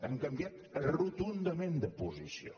han canviat rotundament de posició